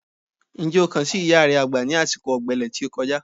Ǹjẹ́ o kàn sí ìyá re àgbà ní àsìkò ọ̀gbẹlẹ̀ tí ó kọjá?